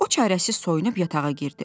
O çarəsiz soyunub yatağa girdi.